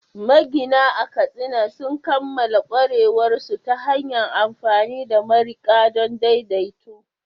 Magina a Katsina sun kammala ƙwarewarsu ta hanyar amfani da mariƙi don daidaito